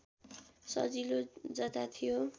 सजिलो जता थियो